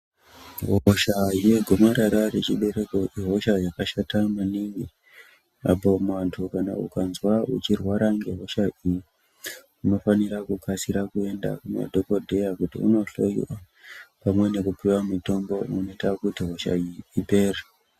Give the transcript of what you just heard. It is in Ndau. Hosha yegomarara rechibereko ihosha yakashata maningi .Apo muntu ukazwa uchirwara iyi unofana kukasira kuenda kumadhokoteya kuti undohloiwa pamwe nekupuwa mutombo unoita kuti hosha iyi ipere.